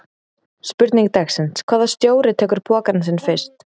Spurning dagsins: Hvaða stjóri tekur pokann sinn fyrstur?